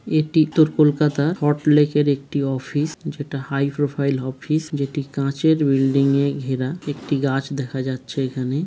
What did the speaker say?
এটি একটি Kolkata hot lake -এর একটি অফিস যেটা হাই প্রোফাইল অফিস যেটি কাঁচের বিল্ডিং -এ ঘেরা। একটি গাছ দেখা যাচ্ছে এখানে।